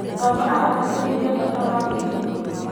Baba aratĩtĩrithia bata wa gwĩtũma.